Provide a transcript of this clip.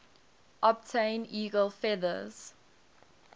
obtain eagle feathers